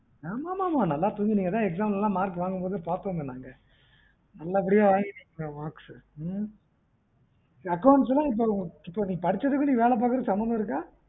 ஆமா ஆமா நல்லா தூங்குனிங்க பாத்தோமே அதான் exam ல marks வாங்கும்போது பாத்தோமே நாங்க நல்லபடியா வாங்கிடுங்க marks ம் accounts ல நீ படிச்சதுக்கும் வேலை பாக்குறதுக்கும் சம்மந்தம் சம்மந்தம் இருக்கா